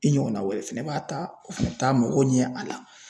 I ɲɔgɔnna wɛrɛw fɛnɛ b'a ta , o fɛnɛ bɛ t'a mɔgɔ ɲɛ a la.